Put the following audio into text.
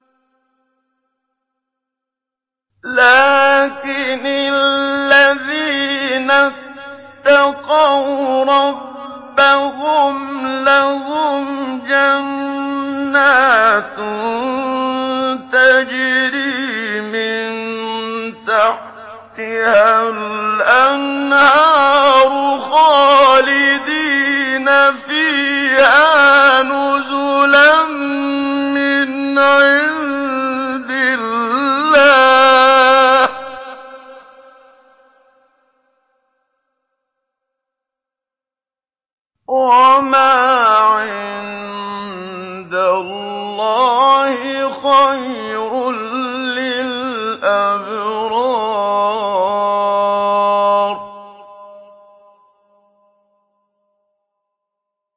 لَٰكِنِ الَّذِينَ اتَّقَوْا رَبَّهُمْ لَهُمْ جَنَّاتٌ تَجْرِي مِن تَحْتِهَا الْأَنْهَارُ خَالِدِينَ فِيهَا نُزُلًا مِّنْ عِندِ اللَّهِ ۗ وَمَا عِندَ اللَّهِ خَيْرٌ لِّلْأَبْرَارِ